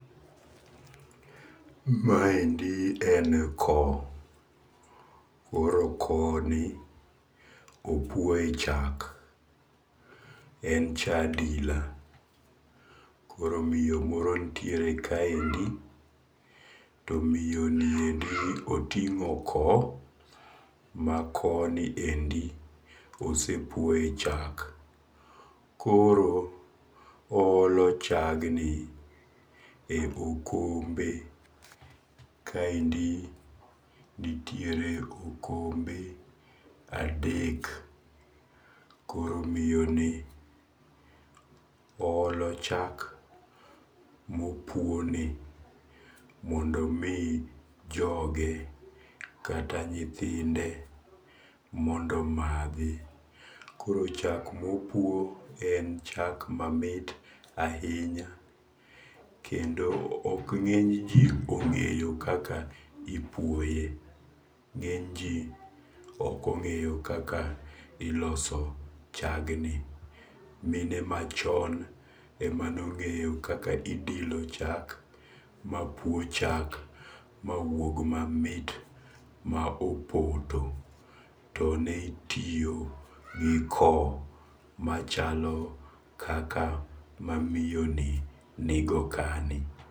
Maendi en ko, koro ko ni opuoye chak, en cha adila , koro miyo moro nitiere kaendi, to miyoniendi otingo ko, ma ko niendi osepuoye chak, koro oholo chagni e okombe, kaendi nitiere okombe adek koro miyoni olo chak mopuoni mondomi joge kata nyithinde mondo mathi koro chal mopuo en chak mamit ahinya, kendo ok nge'nyji onge'yo kaka ipwoye, nge'nyji okonge'yo kaka iloso chagni, mine machon emanongeyo kaka idilo chak, mapuo chak mawuog mamit ma opoto, to ne itiyo gi chak machalo kaka ma miyoni nigo kani